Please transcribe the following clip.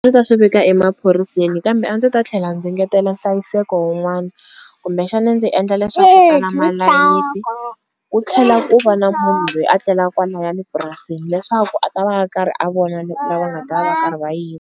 ta swi vika emaphoriseni kambe a ndzi ta tlhela ndzi ngetela nhlayiseko wun'wana kumbexani ndzi endla leswaku ku tlhela ku va na munhu loyi a tlela kwalayani mapurasini leswaku a ta va a karhi a vona lava nga ta va karhi va yiva.